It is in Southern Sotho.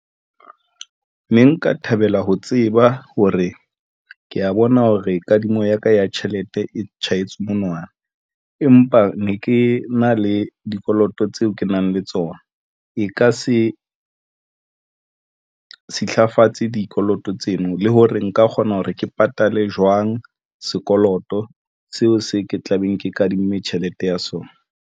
Ne nka thabela ho tseba hore ke ya bona hore kadimo ya ka ya tjhelete e tjhahetse monwana, empa ne ke na le dikoloto tseo ke nang le tsona, e ka se silafatsa dikoloto tseno le hore nka kgona hore ke patale jwang. Sekoloto seo se ke tla beng ke kadimme tjhelete ya sona.